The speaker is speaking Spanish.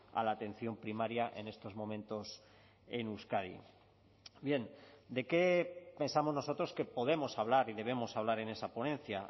a la atención primaria en estos momentos en euskadi bien de qué pensamos nosotros que podemos hablar y debemos hablar en esa ponencia